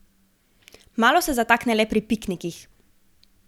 Malo se zatakne le pri piknikih.